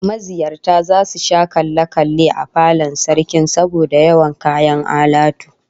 Maziyarta zasu sha kalle kalle a falon Sarkin saboda yawan kayan alatu